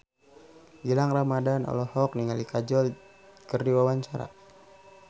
Gilang Ramadan olohok ningali Kajol keur diwawancara